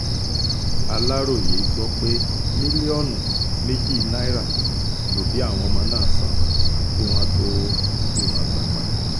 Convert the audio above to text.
aláròye gbọ́ pé mílíọ̀nù méjì náírà lòbí àwọn ọmọ náà sàn kí wọ́n tóó rí wọn gbà padà